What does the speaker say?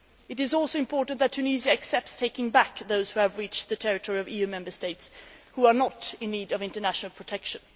It is also important that Tunisia takes back those who have reached the territory of EU Member States and are not in need of international protection.